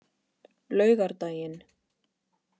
laugardaginn